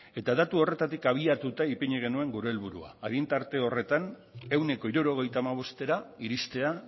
eta datu horretatik abiatuta ipini genuen gure helburua adin tarte horretan ehuneko hirurogeita hamabostera iristea